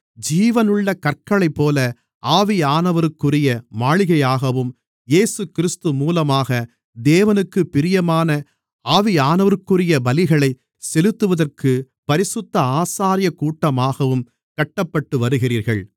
ஜீவனுள்ள கற்களைப்போல ஆவியானவருக்குரிய மாளிகையாகவும் இயேசுகிறிஸ்து மூலமாக தேவனுக்குப் பிரியமான ஆவியானவருக்குரிய பலிகளைச் செலுத்துவதற்குப் பரிசுத்த ஆசாரியக்கூட்டமாகவும் கட்டப்பட்டுவருகிறீர்கள்